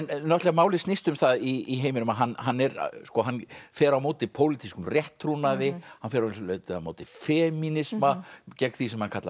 málið snýst um það í heiminum að hann hann hann fer á móti pólitískum rétttrúnaði hann fer að vissu leyti á móti femínisma gegn því sem hann kallar